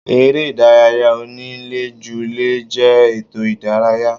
Eré ìdárayá onílé ju lé jẹ́ ètò ìdárayá.